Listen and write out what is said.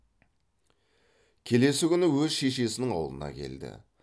келесі күні өз шешесінің аулына келді